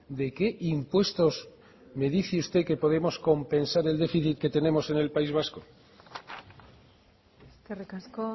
de qué impuestos me dice usted que podemos compensar el déficit que tenemos en el país vasco eskerrik asko